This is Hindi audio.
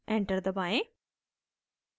enter दबाएं